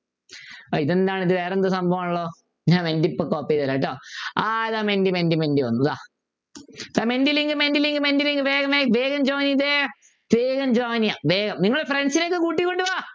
ഇതെന്താണ് ഇത് വേറെന്തോ സംഭവം ആണല്ലോ ഞാൻ മെൻറ്റി ഇപ്പോൾ copy ചെയ്തു തരാം കേട്ടോ ആഹ് ഇതാ മെൻറ്റി മെൻറ്റി മെൻറ്റി വന്നു ഇതാ Menti link Menti link Menti link വേഗം join ചെയ്‌തേ വേഗം join ചെയ്യുക വേഗം നിങ്ങള് friends നെയൊക്കെ കൂട്ടിക്കൊണ്ടുവാ